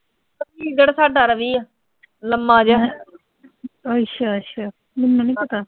ਅੱਛਾ-ਅੱਛਾ ਮੈਨੂੰ ਨੀਂ ਪਤਾ